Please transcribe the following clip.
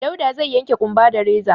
Dauda zai yanke ƙumba da reza.